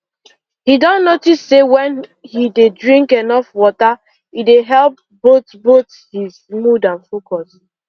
he don notice say when he dey drink enough water e dey help both both his mood and focus